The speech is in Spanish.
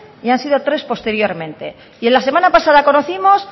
y han sido tres posteriormente y la semana pasada conocimos